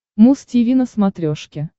муз тиви на смотрешке